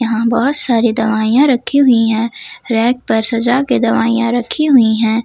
यहां बहोत सारी दवाइयां रखी हुई है रैक पर सजा के दवाइयां रखी हुई है।